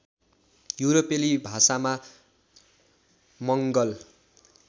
युरोपेली भाषामा मङ्गल